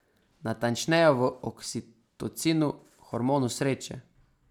Natančneje v oksitocinu, hormonu sreče.